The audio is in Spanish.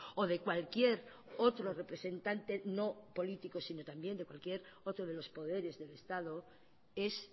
o de cualquier otro representante no político sino también de cualquier otro de los poderes del estado es